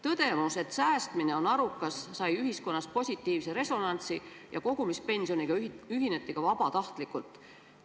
Tõdemus, et säästmine on arukas, sai ühiskonnas positiivse resonantsi ja kogumispensioniga ühineti ka vabatahtlikult.